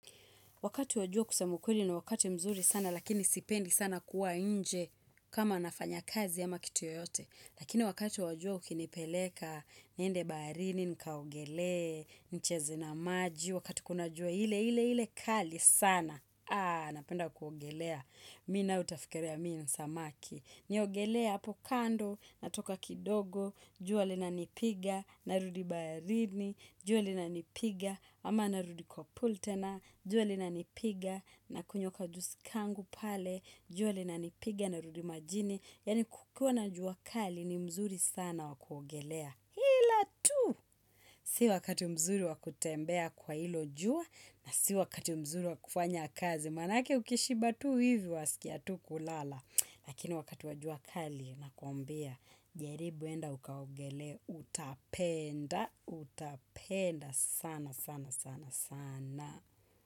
Wakati wa jua kusema ukweli ni wakati mzuri sana lakini sipendi sana kuwa nje kama nafanya kazi ama kitu yoyote. Lakini wakati wa jua ukinipeleka, niende baharini, nikaogelee, nicheze na maji, wakati kuna jua ile ile ile kali sana. Napenda kuogelea. Mimi naye utafikiria mimi ni samaki. Niogelee hapo kando, natoka kidogo, jua linanipiga, narudi baharini, jua linanipiga, ama narudi kwa pool tena, jua linanipiga, nakunywa ka juisi kangu pale, jua linanipiga, narudi majini, yani kukiwa na jua kali ni mzuri sana wa kuogelea. Ila tu, si wakati mzuri wa kutembea kwa hilo jua, na si wakati mzuri wa kufanya kazi. Maanake ukishiba tu hivi wasikia tu kulala. Lakini wakati wa jua kali nakuambia jaribu enda ukaogelee utapenda, utapenda sana sana.